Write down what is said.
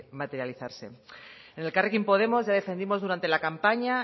materializarse en elkarrekin podemos ya defendimos durante la campaña